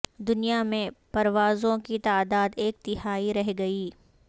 دنیا میں پروازوں کی تعداد ایک تہائی رہ گئی